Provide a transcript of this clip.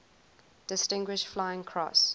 distinguished flying cross